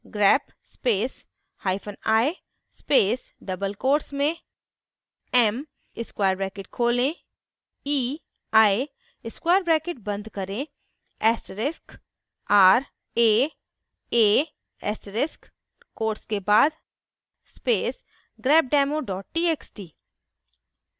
grep space hyphen i space double quotes में m square bracket खोलें ei square bracket बंद करें asterisk r a a asterisk quotes के बाद space grepdemo txt